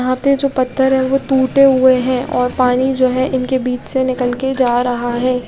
यहाँ पे जो पत्थर है ओ टूटे हुए है और पानी जो है इनके बिच से निकल के जा रहा है।